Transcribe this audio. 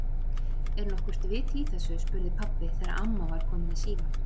Er nokkurt vit í þessu? spurði pabbi þegar amma var komin í símann.